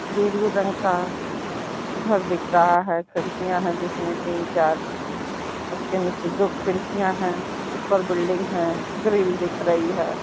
दूर-दूर गाड़ी एक घर दिख रहा है खिड़कियाँ जिसमें तीन चार उसके नीचे दो खिड़कियाँ हैं। ऊपर बिल्डिंग है। ग्रिल दिख रही है।